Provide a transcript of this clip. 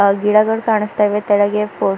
ಆ ಗಿಡಗಳು ಕಾಣಿಸ್ತಾವೆ ತೆಳಗೆ ಫೊಸ್ --